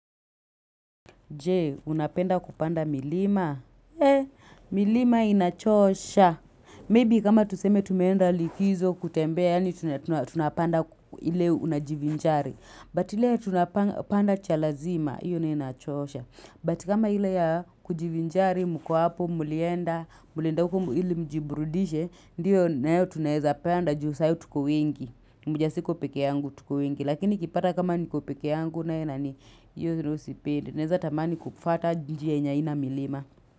Je, unapenda kupanda milima? Eh, milima inachosha. Maybe kama tuseme tumeenda likizo kutembea, yaani tunapanda ile unajivinjari. But ile tunapanda cha lazima, hiyo naye inachosha. But kama ile ya kujivinjari, mko hapo, mlienda, mlienda huko ili mjiburudishe, ndio nayo tunaeza panda ju saa hiyo tuko wengi. Mujasiko peke yangu tuko wengi. Lakini kipata kama niko peke yangu, nae, nani, Naeza tamani kufata njia ye nye aina milima.